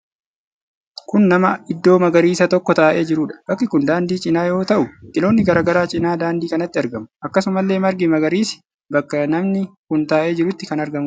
Kun nama iddoo magariisaa tokko taa'ee jiruudha. Bakki kun daandii cinaa yoo ta'u, biqiloonni garaa garaa cinaa daandii kanaatti argamu. Akkasumalle margi magariisi bakka namni kun taa'ee jiruutti kan argamuudha.